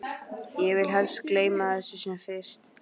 Ég vil helst gleyma þessu sem fyrst.